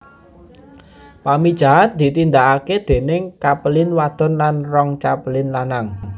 Pamijahan ditindakake déning capelin wadon lan rong capelin lanang